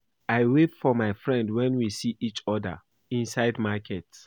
I wave for my friend wen we see each other inside market